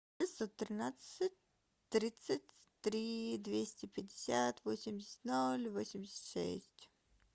триста тринадцать тридцать три двести пятьдесят восемьдесят ноль восемьдесят шесть